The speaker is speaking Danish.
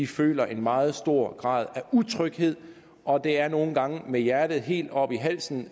føler en meget stor grad af utryghed og det er nogle gange med hjertet helt oppe i halsen